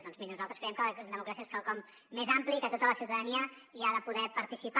doncs miri nosaltres creiem que la democràcia és quelcom més ampli i que tota la ciutadania hi ha de poder participar